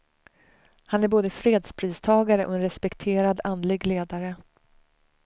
Han är både fredspristagare och en respekterad andlig ledare.